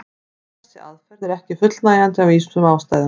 En þessi aðferð er ekki fullnægjandi af ýmsum ástæðum.